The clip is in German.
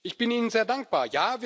Ich bin Ihnen sehr dankbar.